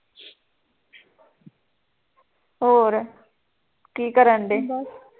ਹੋਰ ਕੀ ਕਰਨ ਡਏ